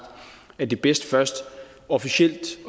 at det er bedst først officielt